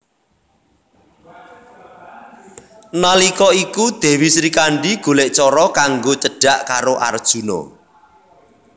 Nalika iku Dèwi Srikandhi golèk cara kanggo cedhak karo Arjuna